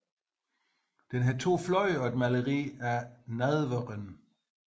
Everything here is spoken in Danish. Den har to fløje og et maleri af nadveren